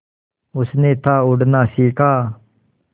उसने था उड़ना सिखा